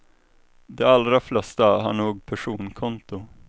De allra flesta har nog personkonto.